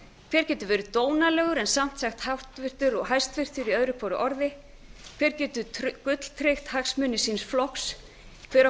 hver getur verið dónalegur en samt sagt háttvirtur og hæstvirtur í öðru hverju orði hver getur gulltryggt hagsmuni síns flokks hver á